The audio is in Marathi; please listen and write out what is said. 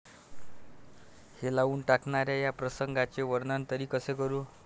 हेलावून टाकणाऱ्या या प्रसंगाचे वर्णन तरी कसे करू?